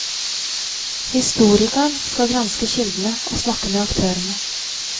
Historikeren skal granske kildene og snakke med aktørene.